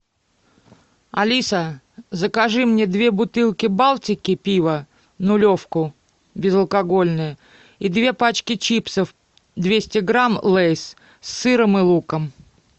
алиса закажи мне две бутылки балтики пива нулевку безалкогольное и две пачки чипсов двести грамм лейс с сыром и луком